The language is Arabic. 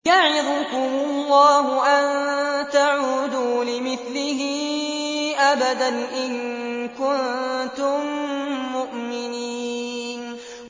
يَعِظُكُمُ اللَّهُ أَن تَعُودُوا لِمِثْلِهِ أَبَدًا إِن كُنتُم مُّؤْمِنِينَ